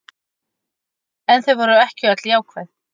En þau væru ekki öll jákvæð